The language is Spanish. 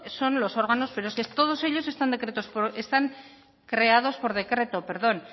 son los órganos pero es que todos ellos están creados por decreto